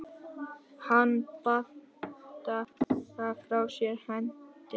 Hann bandar frá sér hendinni.